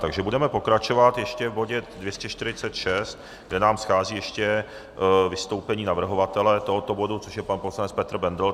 Takže budeme pokračovat ještě v bodě 246, kde nám schází ještě vystoupení navrhovatele tohoto bodu, což je pan poslanec Petr Bendl.